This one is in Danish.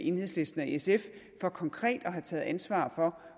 enhedslisten og sf for konkret at have taget ansvar for